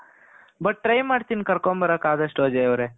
but try ಮಾಡ್ತಿನಿ ಕರ್ಕೊಂಡು ಬರೋಕೆ ಆದಷ್ಟುಅಜಯ್ ಅವರೆ .